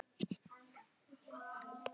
Við förum rólega í þetta.